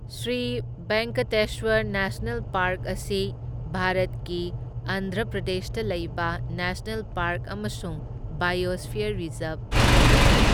Shri Venkateswara national park ꯑꯁꯤ ꯚꯥꯔꯠꯀꯤ ꯑꯟꯙ꯭ꯔ ꯄ꯭ꯔꯗꯦꯁꯇ ꯂꯩꯕ ꯅꯦꯁꯅꯦꯜ ꯄꯥꯔꯛ ꯑꯃꯁꯨꯡ ꯕꯥꯏꯑꯣꯁꯐꯤꯌꯔ ꯔꯤꯖꯔꯕ ꯑꯃꯅꯤ꯫